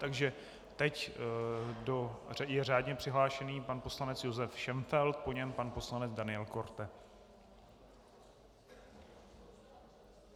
Takže teď je řádně přihlášený pan poslanec Josef Šenfeld, po něm pan poslanec Daniel Korte.